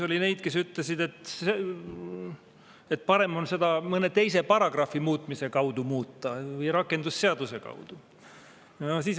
Oli neid, kes ütlesid, et parem on seda muuta mõne teise paragrahvi või rakendusseaduse muutmise kaudu.